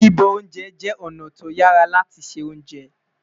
bibọ oúnjẹ jé ọna to yàrá láti ṣé ounjẹ